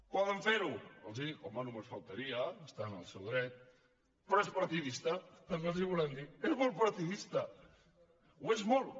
poden ferho home només faltaria estan en el seu dret però és partidista també els ho volem dir és molt partidista ho és molt